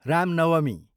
Ram Navami